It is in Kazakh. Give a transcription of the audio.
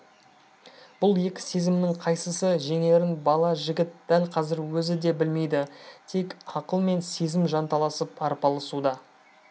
бұл екі сезімнің қайсысы жеңерін бала жігіт дәл қазір өзі де білмейді тек ақыл мен сезім жанталасып арпалысуда